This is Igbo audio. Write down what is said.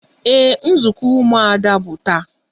Ee, nzukọ umuada bụ taa